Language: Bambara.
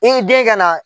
I den ka na